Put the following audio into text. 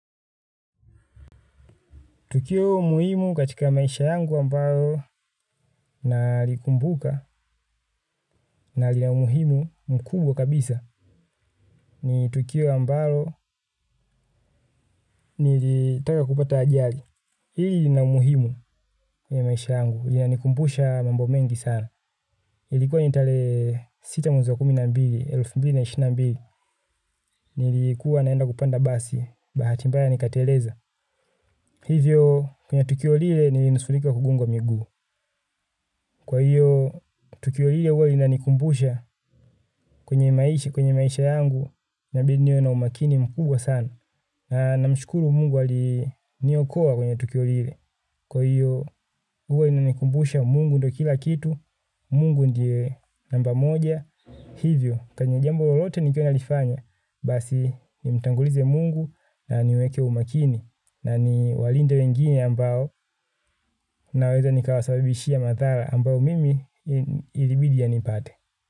Tukio muhimu katika maisha yangu ambalo nalikumbuka na lina umuhimu mkubwa kabisa ni tukio ambalo nilitaka kupata ajali. Hili lina umuhimu ya maisha yangu, lina nikumbusha mambo mengi sana. Ilikuwa nitarehe sita mwezi wa kumi na mbili, elfu mbili na ishirini na mbili, nilikuwa naenda kupanda basi bahati mbaya nikateleza. Hivyo kwenye tukio lile nilinusurika kugongwa miguu. Kwa hiyo, tukio hiyo huwa inanikumbusha kwenye maisha, kwenye maisha yangu, nabidi niwe na umakini mkubwa sana. Na namshukuru mungu aliniokoa kwenye tukio lile. Kwa hiyo, huwa inanikumbusha mungu ndo kila kitu, mungu ndiye namba moja. Hivyo, kwenye jambo lolote nikiwa nalifanya, basi nimtangulize mungu na niweke umakini. Na ni walinde wengine ambao naweza nikawasababishia madhara ambao mimi ilibidi yanipate.